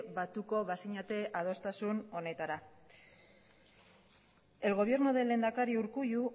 batuko bazinete adostasun honetara el gobierno del lehendakari urkullu